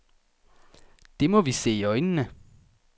Det må vi se i øjnene.